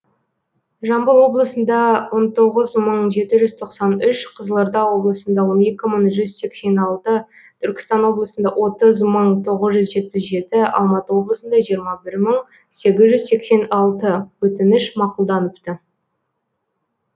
жамбыл облысында он тоғыз мың жеті жүз тоқсан үш қызылорда облысында он екі мың жүз сексен алты түркістан облысында отыз мың тоғыз жүз жетпіс жеті алматы облысында жиырма бір мың сегіз жүз сексен алты өтініш мақұлданыпты